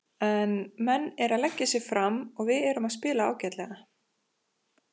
En menn eru að leggja sig fram og við erum að spila ágætlega.